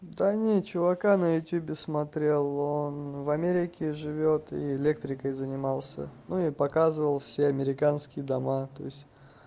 да нет чувака на ютубе смотрел он в америке живёт и электрикой занимался ну и показывал все американские дома то есть